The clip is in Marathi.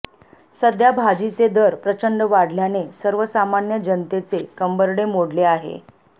सध्या भाजीचे दर प्रचंड वाढल्याने सर्वसामान्य जनतेचे कंबरडे मोडले आहे